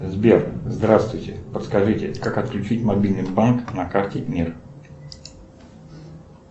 сбер здравствуйте подскажите как отключить мобильный банк на карте мир